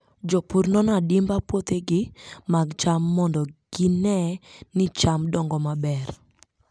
Jopur nono adimba puothegi mag cham mondo gine ni cham dongo maber.